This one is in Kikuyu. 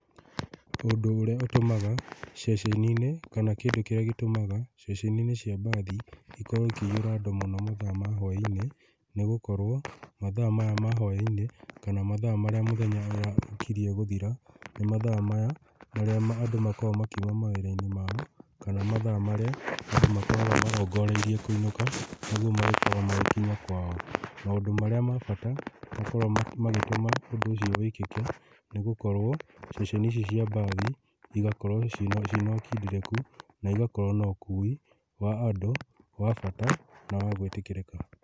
Ũndũ ũrĩa ũtũmaga ceceni-inĩ kana kĩndũ kĩrĩa gĩtũmaga ceceni-inĩ cia mbathi ikorwo ikĩihũra andũ mũno mathaa-inĩ ma hwainĩ, nĩgũkorwo mathaa maya ma hwainĩ kana mathaa marĩa mũthenya ũra, ũkirie gũthira nĩ mathaa maya marĩa andũ makoragwo makiuma mawĩra-inĩ mao, kana mathaa marĩa andũ makoragwo marongoreirie kũinũka nĩgwo magĩkorwo magĩkinya kwao. Maũndũ marĩa ma bata makoragwo magĩ, magĩtũma ũndũ ũcio wĩkĩke nĩgũkorwo ceceni ici cia mbathi igakorwo cina, cina ũkindĩrĩku na igakorwo nokui wa andũ wa bata na wa gwĩtĩkĩrĩka.